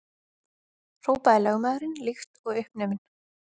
hrópaði lögmaðurinn líkt og uppnuminn.